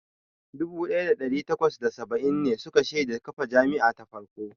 Dubu ɗaya da ɗari takwas da saba'in ne suka shaida kafa jami'a ta farko.